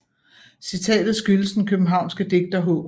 Citatet skyldes den københavnske digter H